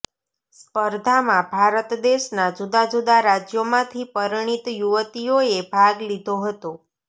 સ્પર્ધામાં ભારત દેશના જુદા જુદા રાજયોમાંથી પરિણીત યુવતીયોએ ભાગ લીધો હતો